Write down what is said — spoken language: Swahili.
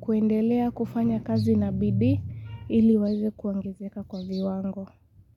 kuendelea kufanya kazi na bidii ili waweze kuongezeka kwa viwango.